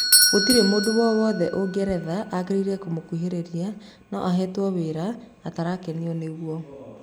Gũtiri mũndũ wowothe ũngeretha agĩrĩire kũmũkũhĩrĩria no ahetwo wĩra atarakenio nĩguo